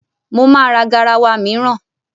Mo ma ra garawa mìíràn.